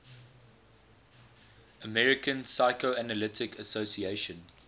american psychoanalytic association